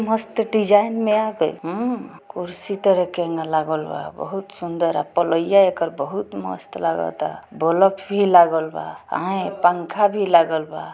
मस्त डिजाइन में आ गैल हम्म कुर्सी तरह केंगा लागल बा। बहुत सुंदर पलईया एकर बहुत मस्त लगता। बल्ब भी लागल बा। आयेन पंखा भी लागल बा।